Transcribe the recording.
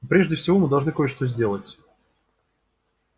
но прежде всего мы должны кое-что сделать